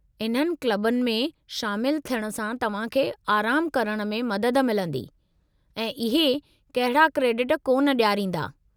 इन्हनि क्लबुनि में शामिलु थियणु सां तव्हां खे आरामु करण में मदद मिलंदी, ऐं इहे कहिड़ा क्रेडिट कोन डि॒यारींदा।